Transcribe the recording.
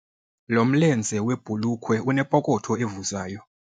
Lo mlenze webhulukhwe unepokotho evuzayo.